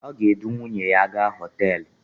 O ga-edu nwuyne ya gaa hotelu